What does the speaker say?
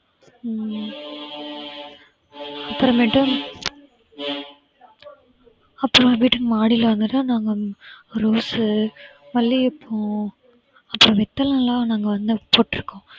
ஹம் அப்புறமேட்டும் அப்புறம் வீட்டின் மாடியில நாங்க ரோஸு, மல்லிகை பூ அப்புறம் வெத்தலையெல்லாம் நாங்க வந்து போட்டிருக்கோம்